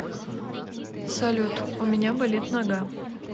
салют у меня болит нога